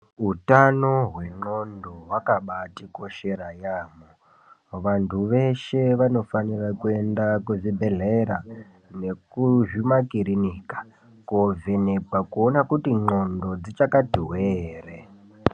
Utano hwendxondo hwakabatikoshera yaamho. Vantu veshe vanofanirwa kuenda kuzvibhendlera nekuzvimakirinika koovhekwa kuona kuti ndxondo dzichakati hwee ere.